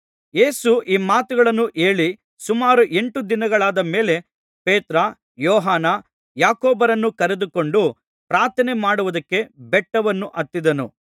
ಯೇಸು ಈ ಮಾತುಗಳನ್ನು ಹೇಳಿ ಸುಮಾರು ಎಂಟು ದಿನಗಳಾದ ಮೇಲೆ ಪೇತ್ರ ಯೋಹಾನ ಯಾಕೋಬರನ್ನು ಕರೆದುಕೊಂಡು ಪ್ರಾರ್ಥನೆಮಾಡುವುದಕ್ಕೆ ಬೆಟ್ಟವನ್ನು ಹತ್ತಿದನು